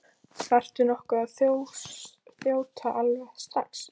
Þarftu nokkuð að þjóta alveg strax?